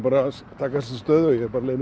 að taka stöðuna